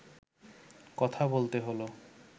কথা বলতে হলো